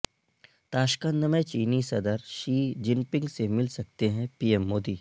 تاشقند میں چینی صدر شی جن پنگ سے مل سکتے ہیں پی ایم مودی